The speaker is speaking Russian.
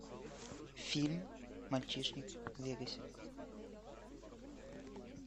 фильм мальчишник в вегасе